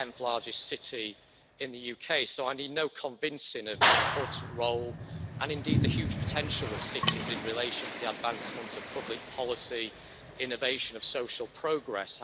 This is the tenth largest city in the UK, so I need no convincing of the important role and indeed the huge potential of cities in relation to the advancement of public policy and innovation of social progress.